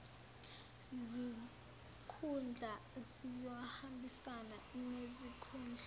zikhundla ziyohambisana nezikhundla